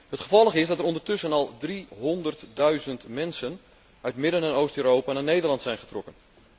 Het gevolg is dat er ondertussen al driehonderdduizend mensen uit Midden en Oost Europa naar Nederland zijn getrokken.